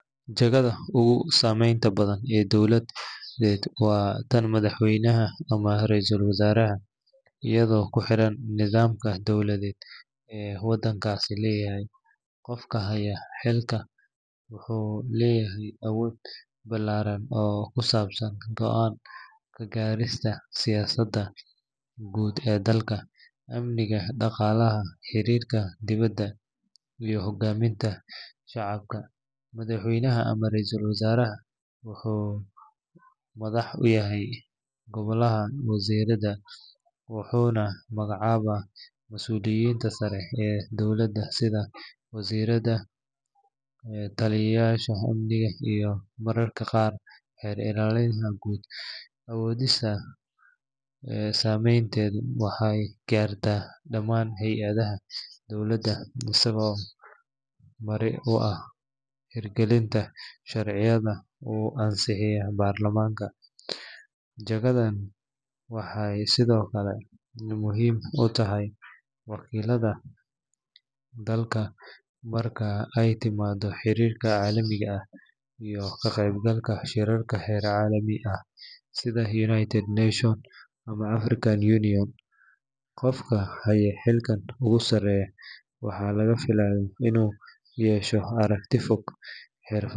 Jagada ugu saameynta badan ee dowladeed waa tan madaxweynaha ama ra’iisul wasaaraha iyadoo ku xiran nidaamka dowladeed ee waddankaasi leeyahay. Qofka haya xilkan wuxuu leeyahay awood ballaaran oo ku saabsan go’aan ka gaarista siyaasadda guud ee dalka, amniga, dhaqaalaha, xiriirka dibadda, iyo hoggaaminta shacabka. Madaxweynaha ama ra’iisul wasaaraha wuxuu madax u yahay golaha wasiirada, wuxuuna magacaabaa masuuliyiinta sare ee dowladda sida wasiirada, taliyeyaasha amniga, iyo mararka qaar xeer ilaaliyaha guud. Awooddiisa saameynteedu waxay gaartaa dhamaan hay’adaha dowladda isagoo marin u ah hirgelinta sharciyada uu ansixiyo baarlamaanka. Jagadan waxay sidoo kale muhiim u tahay wakiilnimada dalka marka ay timaado xiriirka caalamiga ah iyo ka qaybgalka shirarka heer caalami ah sida United Nations ama African Union. Qofka haya xilka ugu sarreeya waxaa laga filayaa inuu yeesho aragti fog.